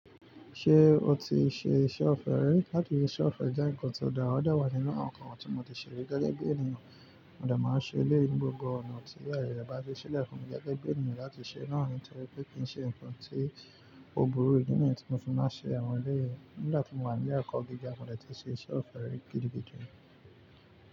Ṣé o ti ṣe iṣẹ́ ọ̀fẹ́ rẹ? Látì ṣe iṣẹ́ ọ̀fẹ́ jẹ́ ǹkan tó dára, ó dẹ wá nínú àwọn ǹkan tí mo ti ṣe rí gẹ́gẹ́ bí ènìyàn. Mo dà máa ń ṣe eleyi ní gbogbo ọ̀nà tí aaye rẹ bá ti ṣílẹ̀ fún mi gẹ́gẹ́ bí ènìyàn láti ṣe. Náà ni toripé kí n ṣe ǹkan tí ògboró ìdí nàì tí mo fún máa ṣe àwọn ilé yìí. Nígbà tí mo wà ní ile ẹkọ̀ gíga, mo dẹ̀ ti ṣe iṣẹ́ ọ̀fẹ́ gidi gidi rí.